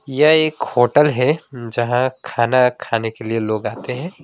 यह एक होटल है जहां खाना खाने के लिए लोग आते हैं।